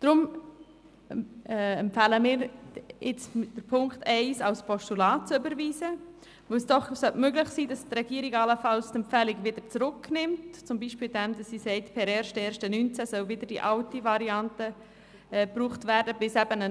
Deshalb empfehlen wir nun, Punkt 1 als Postulat zu überweisen, weil es doch möglich sein sollte, dass die Regierung die Empfehlung allenfalls wieder zurücknimmt, beispielsweise indem sie sagt, per 1. Januar 2019 solle wieder die alte Variante angewendet werden, bis eben eine